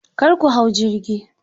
Kar ku hau jirgi.